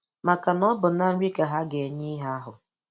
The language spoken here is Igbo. Maka na ọ bụ na nri ka ha ga-enye ihe ahụ.